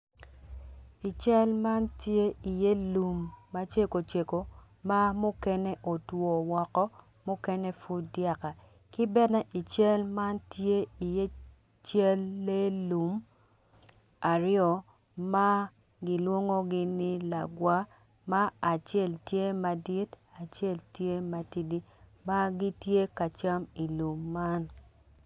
I cal man tye iye lum ma ceko ceko ma mukene otwo woko ma mukene otwo woko mukene pud dyaka ki bene i cal man tye iye cal lee lum aryo ma kilwongogi ni lagwa ma acel tye madit acel tye matidi ma gitye ka cam ilum man